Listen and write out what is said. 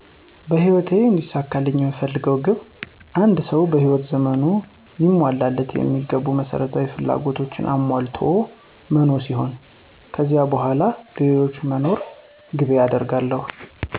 በህይወቴ እንዲሳካልኝ የምፈልገው ግብ አንድ ሰው በህይወት ዘመኑ ሊሟሉለት የሚገቡ መሰረታዊ ፍላጎቶችን አሟልቶ መኖ ሲሆን፤ ከዚህ በተረፈ ለሌሎች ሰዎች መኖርን ግቤ አደርጋለሁ።